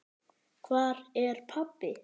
Hvar er pabbi?